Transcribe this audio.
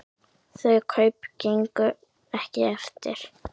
Þau kaup gengu ekki eftir.